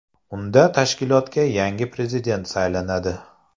Unda tashkilotga yangi prezident saylanadi.